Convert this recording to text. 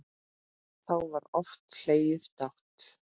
Þá var oft hlegið dátt.